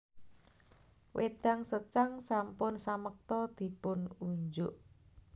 Wédang secang sampun samekta dipun unjuk